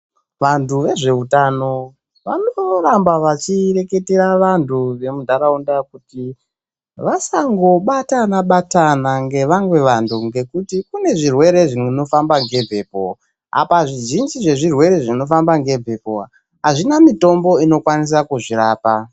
Vantu vezveutano vanoramba vachireketera vantu vemunhtaraunda kuti vasangobatana batana ngevamwe vantu ngekuti kune zvirwere zvinofamba ngemhepo, apa zvizhinji zvezvirwere zvinofamba ngemhepo azvina mitombo inokwanisa kuzvirapa.